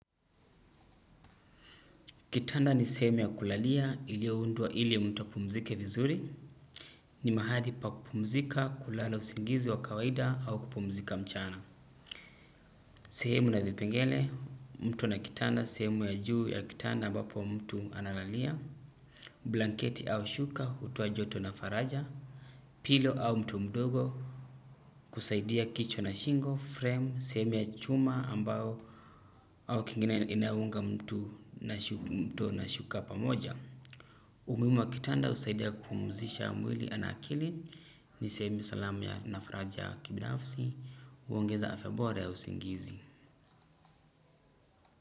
Kitanda ni sehemu ya kulalia iliyo undwa ili mtu apumzike vizuri. Ni mahali pa kupumzika kulala usingizi wa kawaida au kupumzika mchana. Sehemu na vipengele mtu na kitanda sehemu ya juu ya kitanda ambapo mtu analalia. Blanketi au shuka utoa joto na faraja. Pilo au mto mdogo kusaidia kichwa na shingo, frame, sehemu ya chuma ambao au kingine inaunga mtu na shuka pamoja. Umuhimu wa kitanda busaidia kumpuzisha mwili na akili, ni sehemu salamu ya na faraja kibinafsi, huongeza afya bora ya usingizi.